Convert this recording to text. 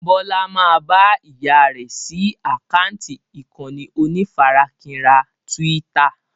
Bọlá máa bá ìyá rẹ sí àkántì ìkànnì onífarakínra Twitter